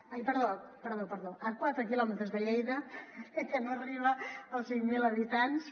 ai perdó perdó a quatre quilòmetres de lleida que no arriba als cinc mil habitants